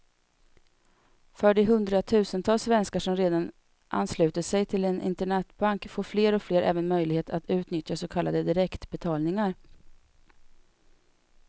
För de hundratusentals svenskar som redan anslutit sig till en internetbank får fler och fler även möjlighet att utnyttja så kallade direktbetalningar.